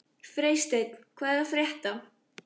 Freysteinn, hvað er að frétta?